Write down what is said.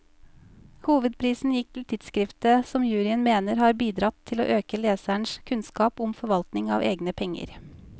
Hovedprisen gikk til tidskriftet, som juryen mener har bidratt til å øke lesernes kunnskap om forvaltning av egne penger.